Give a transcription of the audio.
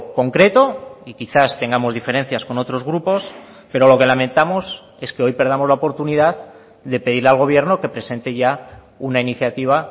concreto y quizás tengamos diferencias con otros grupos pero lo que lamentamos es que hoy perdamos la oportunidad de pedirle al gobierno que presente ya una iniciativa